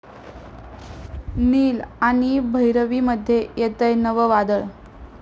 नील आणि भैरवीमध्ये येतंय नवं वादळ